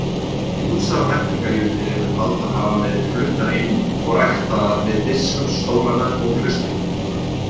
Ýmsar lækningajurtir eru taldar hafa verið fluttar inn og ræktaðar við biskupsstólana og klaustrin.